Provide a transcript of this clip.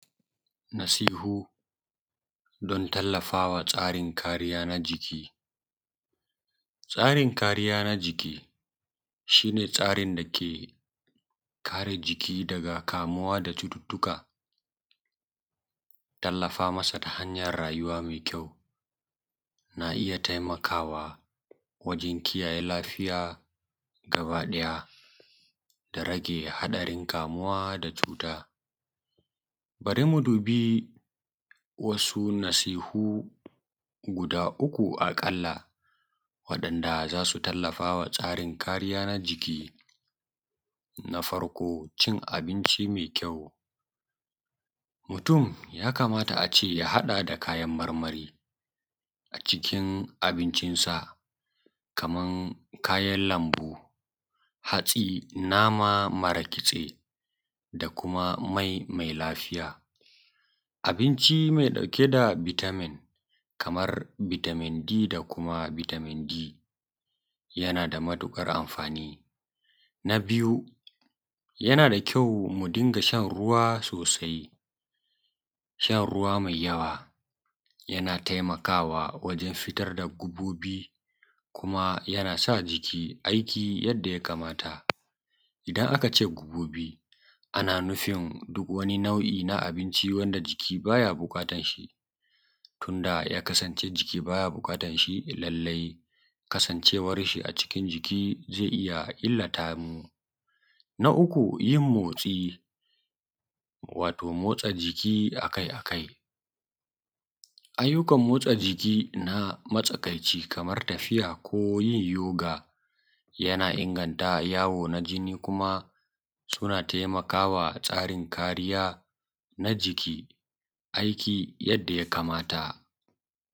Nasihu don tallafa wa tsaɾin kariya na jiki Tsaɾin kariya na jiki shi ne tsaɾin dake kaɾe jiki daɡa kamuwa da cututtuka. Tallafa masa ta hanyan rajuwa na ija taɪmakawa wajen kiyaye lafiya ɡabaɗaya da rage haɗarin kamuwa da tsuta. Baɾi mu dubi wasu nasihu guda uku ɑƙalla, waɗanda za su tallafa wa tsaɾin kariya na jiki. Na faɾko: cin ɑbinci me ƙyau mutum ya kamata a ce ya haɗa da kayan maɾmaɾi ɑ cikin ɑbinshinsa, kaman kayan lambu, hatsi, nama maɾa kitse, da kuma mai laɪɸija. Abinci me ɗauke da bitamin, kaman bitamin D da kuma bitamin E, yana da matuƙaɾ amfani. Na biyu: shan ɾuwa Mu dinga shan ɾuwa sosai. Shan ɾuwa mai yawa yana taɪmakawa wujen fitaɾ da ɡaɓoɓi. Kuma yanasa jiki aɪki. yana ya kamata idan akace ɡaɓoɓi ɑna nufin, duk wani nau’i na ɑbinʧi wanda jiki ba ya so, tiun da ya kasance ciki, ba ya buƙatan shi. Lallaɪ kasancewas shi ɑ cikin jiki zai iya illata mu. Na uku: motsa jiki, wato motsa jiki akaɪ-akaɪ. Arinkan motsa jiki na matsakaɪci, kaman yin tafiya ko yin yoka, yana inganta yawo na jini. Kuma suna taɪmakawa tsaɾin kariya na jiki aɪki yadda ya kamata.